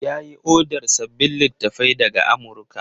Ya yi odar sababbin littattafai daga Amurka.